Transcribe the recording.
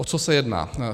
O co se jedná?